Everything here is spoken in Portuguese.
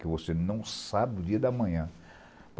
Que você não sabe no dia da manhã.